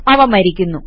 അവ മരിക്കുന്നു